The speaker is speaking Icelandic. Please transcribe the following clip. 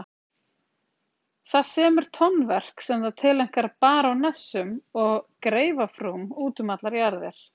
Það semur tónverk sem það tileinkar barónessum og greifafrúm út um allar jarðir.